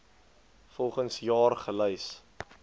volgens jaar gelys